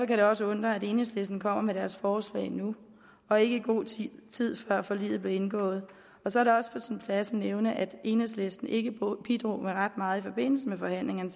det også undre at enhedslisten kommer med deres forslag nu og ikke i god tid før forliget blev indgået så er det også på sin plads at nævne at enhedslisten ikke bidrog med ret meget i forbindelse med forhandlingerne